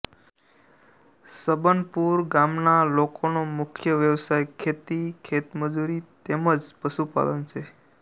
છબનપુર ગામના લોકોનો મુખ્ય વ્યવસાય ખેતી ખેતમજૂરી તેમ જ પશુપાલન છે